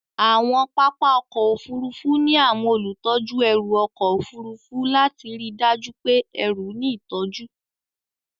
Àwọn pápá ọkọ̀ Òfurufú ní àwọn olùtọ́jú ẹrù ọkọ̀ Òfurufú lati ríi dájú pé ẹrù ní ìtọ́jú.